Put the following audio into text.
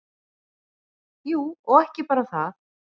Jú, og ekki bara það.